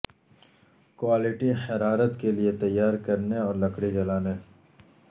quality حرارت کے لئے تیار کرنے اور لکڑی جلانے